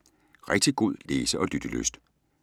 Rigtig god læse- og lyttelyst.